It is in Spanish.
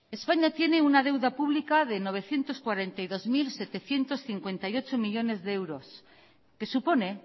españa tiene una deuda pública de novecientos cuarenta y dos mil setecientos cincuenta y ocho millónes de euros que supone